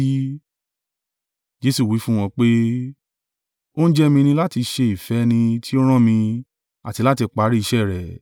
Jesu wí fún wọn pé, “Oúnjẹ mi ni láti ṣe ìfẹ́ ẹni tí ó rán mi, àti láti parí iṣẹ́ rẹ̀.